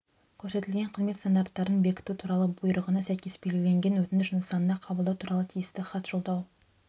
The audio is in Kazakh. көрсетілетін қызмет стандарттарын бекіту туралы бұйрығына сәйкес белгіленген өтініш нысанында қабылдау туралы тиісті хат жолдау